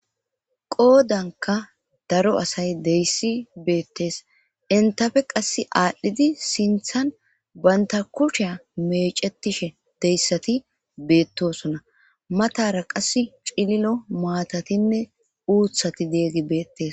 Qoodanka daro asay deyssi beettes; entape qassi aadhdhidi sinthan banta kusheya meeccetishe deyssati beettosona; matara qassi cililo maatatinne uuththati deeygi beettes.